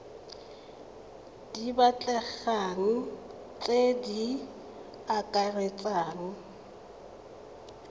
di batlegang tse di akaretsang